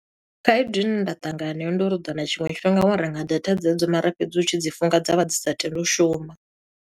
Khaedu ine nda ṱangana nayo ndi uri u ḓo wana tshiṅwe tshifhinga wa renga data dzedzo mara fhedzi u tshi dzi funga, dza vha dzi sa tendi u shuma.